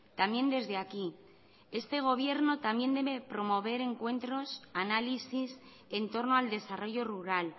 también desde aquí este gobierno también debe promover encuentros análisis en torno al desarrollo rural